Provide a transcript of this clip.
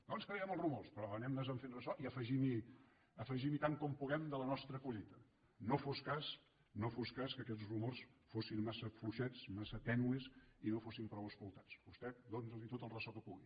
no ens creiem els rumors però anem nos en fent ressò i afegim hi tant com puguem de la nostra collita no fos cas no fos cas que aquests rumors fossin massa fluixets massa tènues i no fossin prou explotats vostè doni’ls tot el ressò que pugui